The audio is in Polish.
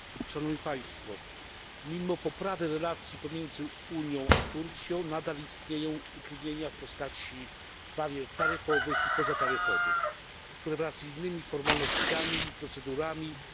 Mimo poprawy relacji pomiędzy Unią a Turcją nadal istnieją utrudnienia w postaci barier taryfowych i pozataryfowych, które wraz z innymi formalnościami i procedurami wymagają uproszczenia.